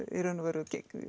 í raun og veru